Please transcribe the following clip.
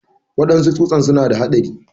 Waɗansu tsusan suna da haɗari.